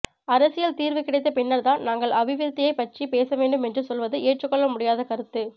அரசியல் தீர்வு கிடைத்த பின்னர்தான் நாங்கள் அபிவிருத்தியைப் பற்றி பேசவேண்டும் என்று சொல்வது ஏற்றுக்கொள்ள முடியாத கருத்து